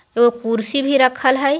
ओ कुुर्सी भी रखल हाय।